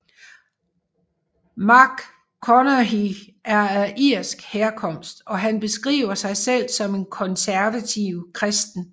McConaughey er af irsk herkomst og han beskriver sig selv som en konservativ kristen